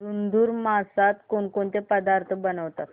धुंधुर मासात कोणकोणते पदार्थ बनवतात